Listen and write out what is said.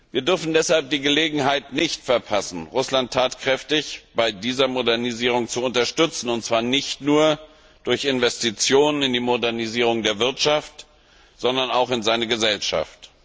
Wir dürfen deshalb die Gelegenheit nicht verpassen, Russland tatkräftig bei dieser Modernisierung zu unterstützen, und zwar nicht nur durch Investitionen in die Modernisierung der Wirtschaft, sondern auch in seine Gesellschaft.